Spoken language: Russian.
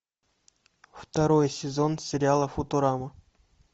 второй сезон сериала футурама